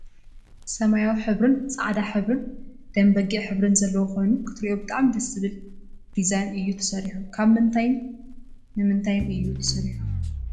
ሰማያዊ ሕብርን ፃዕዳ ሕብርን ደም በጊዕ ሕብርን ዘለዎ ኮይኑ ክትርእዮ ብጣዕሚ ደስ ብዝብል ዲዛይን እዩ ተሰሪሑ። ካብ ምንታይን ምንታይን እዩ ተሰርሑ?